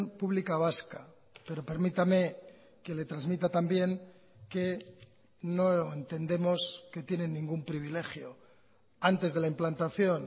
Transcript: pública vasca pero permítame que le transmita también que no entendemos que tienen ningún privilegio antes de la implantación